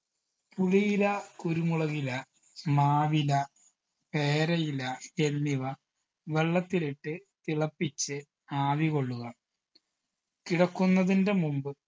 പുളിയില കുരുമുളകില മാവില പേരയില എന്നിവ വെള്ളത്തിലിട്ട് തിളപ്പിച്ച് ആവി കൊള്ളുക കിടക്കുന്നതിൻറെ മുമ്പ്